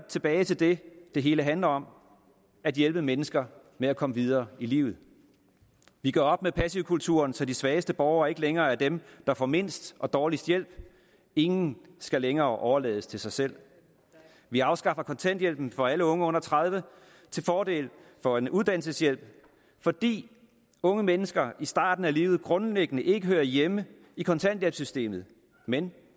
tilbage til det det hele handler om at hjælpe mennesker med at komme videre i livet vi gør op med passivkulturen så de svageste borgere ikke længere er dem der får mindst og dårligst hjælp ingen skal længere overlades til sig selv vi afskaffer kontanthjælpen for alle unge under tredive år til fordel for en uddannelseshjælp fordi unge mennesker i starten af livet grundlæggende ikke hører hjemme i kontanthjælpssystemet men